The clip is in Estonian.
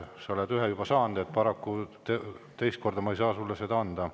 Sa oled ühe juba saanud, paraku teist korda ma ei saa sulle seda anda.